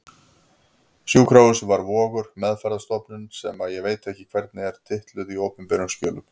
Sjúkrahúsið var Vogur, meðferðarstofnunin sem ég veit ekki hvernig er titluð í opinberum skjölum.